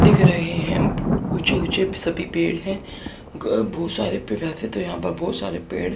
दिख रहे है उचे उचे पि सभी पेड़ है ग भूसा तो यहा पे बहुत सारे पेड़--